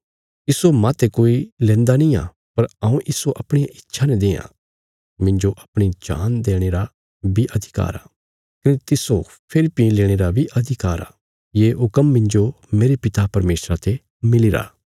इस्सो माह्ते कोई लेन्दा निआं पर हऊँ इस्सो अपणिया इच्छा ने देआं मिन्जो अपणी जान देणे रा बी अधिकार आ कने तिस्सो फेरी भीं लेणे रा बी अधिकार आ ये हुक्म मिन्जो मेरे पिता परमेशरा ते मिलीरा